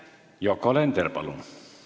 Yoko Alender, palun!